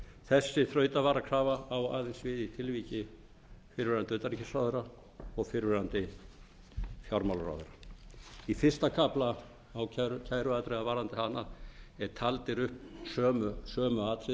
þessi þrautavarakrafa á aðeins við í tilviki fyrrverandi utanríkisráðherra og fyrrverandi fjármálaráðherra í fyrsta kafla kæruatriða varðandi hana eru talin upp sömu atriði og